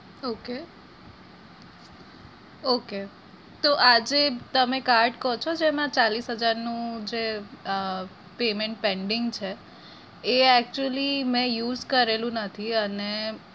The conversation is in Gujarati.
okay okay તો આ જે તમે card કો છો જેમાં ચાલીશ હજારનું જે payment pending છે એ actually મેં use કરેલું નથી અને